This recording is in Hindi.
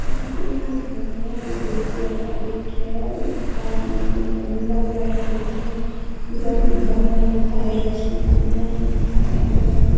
यहां पे एक ठो घर है जो ब्लू कलर का गेट है एक का ब्लू कलर का नीला कलर का गेट है उधर भी घर बन रखा है यश्वी का डिज़ाइन भी बना हुआ है उधर भी।